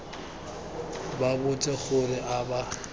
ba botse gore a ba